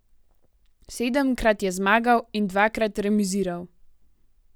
Sedemkrat je zmagal in dvakrat remiziral.